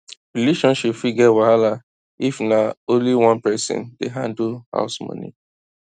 relationship fit get wahala if na only one person dey handle house money